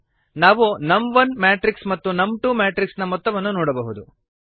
ನಾವು ನಮ್1 ಮ್ಯಾಟ್ರಿಕ್ಸ್ ಮತ್ತು ನಮ್2 ಮ್ಯಾಟ್ರಿಕ್ಸ್ ನ ಮೊತ್ತವನ್ನು ನೋಡಬಹುದು